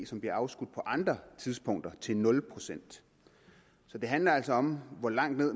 som bliver afskudt på andre tidspunkter til nul procent så det handler altså om hvor langt ned